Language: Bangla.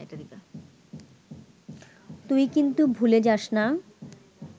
তুই কিন্তু ভুলে যাস না